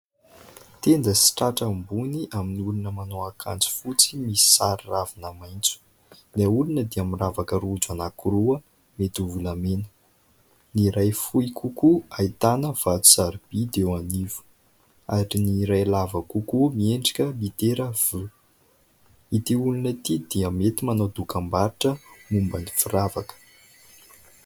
Tenda sy tratra ambony amin'ny olona manao akanjo fotsy misy sary ravina maitso. Ilay olona dia miravaka rojo anaky roa mety ho volamena ; ny iray fohy kokoa ahitana vato sarobidy eo anivo ary ny ray lava kokoa miendrika litera "v". Ity olona ity dia mety manao dokam-barotra momban'ny firavaka.